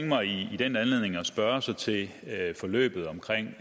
mig i den anledning at spørge til til forløbet omkring